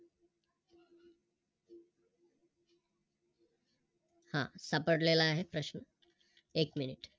सापडलेला आहे प्रश्न, एक Minute